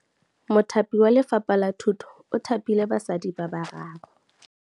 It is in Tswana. Mothapi wa Lefapha la Thutô o thapile basadi ba ba raro.